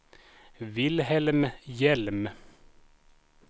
Wilhelm Hjelm